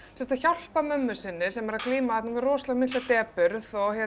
að hjálpa mömmu sinni sem glímir við rosalega mikla depurð